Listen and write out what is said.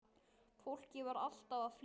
Fólkið var alltaf að flytja.